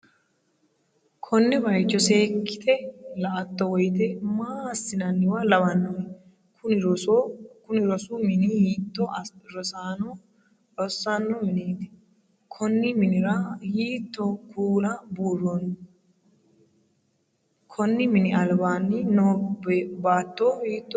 konne bayicho seekkite la'atto woyte maa asssi'nanniwa lawannohe? kuni rosu mini hiitto rosaano rosanno mineeti? konni mini'ra hiitto kuula buurronniho? konni mini albaanni no baatto hiittoote?